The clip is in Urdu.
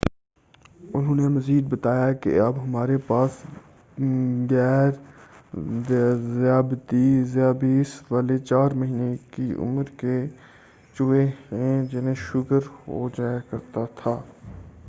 انہوں نے مزید بتایا کہ اب ہمارے پاس غیر ذیابیس والے 4 مہینے کی عمر کے چوہے ہیں جنہیں شوگر ہوجایا کرتا تھا